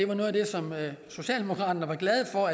var noget af det som socialdemokraterne var glade for